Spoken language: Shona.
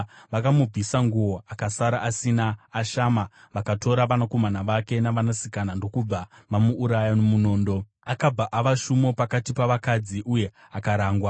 Vakamubvisa nguo akasara asina, ashama, vakatora vanakomana vake navanasikana ndokubva vamuuraya nomunondo. Akabva ava shumo pakati pavakadzi uye akarangwa.